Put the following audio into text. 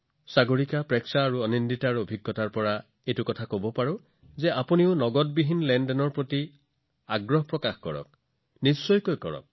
সাগৰিকা প্ৰেক্ষা আৰু আনন্দিতাৰ অভিজ্ঞতালৈ লক্ষ্য কৰি মই আপোনালোকক নগদবিহীন ডে আউটৰ সৈতে পৰীক্ষানিৰীক্ষা কৰিবলৈ অনুৰোধ কৰিম এইটো কৰি চাওক